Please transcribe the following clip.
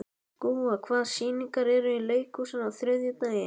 Gúa, hvaða sýningar eru í leikhúsinu á þriðjudaginn?